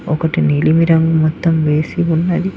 ఒకటి నీలిమి రంగు మొత్తం వేసి ఉన్నది.